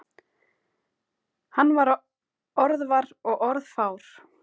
Hann var orðvar og orðfár.